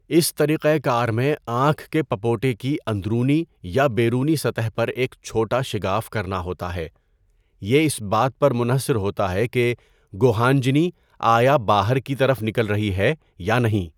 اس طریقہ کار میں آنکھ کے پپوٹے کی اندرونی یا بیرونی سطح پر ایک چھوٹا شگاف کرنا ہوتا ہے، یہ اس بات پر منحصر ہوتا ہے کہ گوہانجنی آیا باہر کی طرف نکل رہی ہے یا نہیں۔